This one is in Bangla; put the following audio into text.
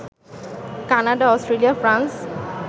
Canada, Australia, France